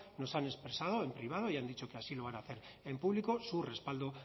nos han expresado en privado y han dicho que así lo van a hacer en público su respaldo